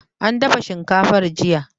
An dafa shinkafar jiya